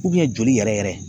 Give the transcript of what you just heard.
joli yɛrɛ yɛrɛ